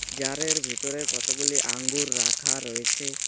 জারের ভেতরে কতগুলি আঙ্গুর রাখা রয়েছে।